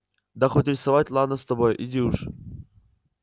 да хоть рисовать ладно с тобой иди уж